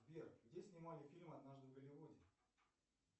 сбер где снимали фильм однажды в голливуде